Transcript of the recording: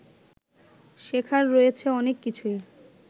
শেখার রয়েছে অনেক কিছুই